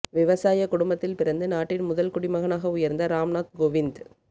விவசாய குடும்பத்தில் பிறந்து நாட்டின் முதல் குடிமகனாக உயர்ந்த ராம்நாத் கோவிந்த்